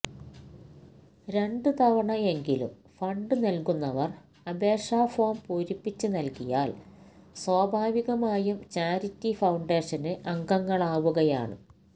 രണ്ട് തവണ എങ്കിലും ഫണ്ട് നല്കുന്നവര് അപേക്ഷ ഫോം പൂരിപ്പിച്ച് നല്കിയാല് സ്വാഭാവികമായും ചാരിറ്റി ഫൌണ്ടേഷന് അംഗങ്ങളാവുകയാണ്